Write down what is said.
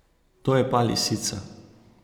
To je pa lisica.